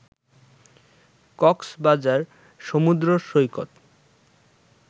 কক্সবাজার সমুদ্র সৈকত